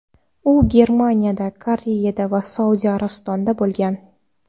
U Germaniyada, Koreyada va Saudiya Arabistonida bo‘lgan.